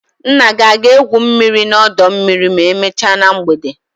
Nna gị ọ ga-egwu mmiri n'ọdọ mmiri ma emechaa na mgbede?